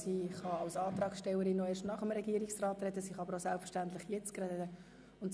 Als Antragstellerin kann sie nach dem Regierungsrat noch einmal ans Rednerpult kommen.